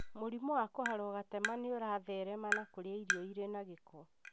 Mũrimũ wa kũharwo gatema nĩũratherema na kũrĩa irio irĩ na gĩko